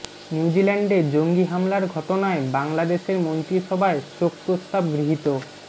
নিউজিল্যান্ডে জঙ্গি হামলার ঘটনায় বাংলাদেশের মন্ত্রিসভায় শোক প্রস্তাব গৃহীত